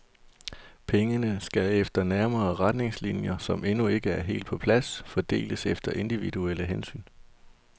Pengene skal efter nærmere retningslinjer, som endnu ikke er helt på plads, fordeles efter individuelle hensyn.